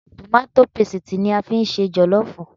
Tòmátó pesìtì ni a fi ń ṣe jọ̀lọ́ọ̀fù